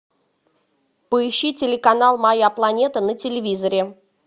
поищи телеканал моя планета на телевизоре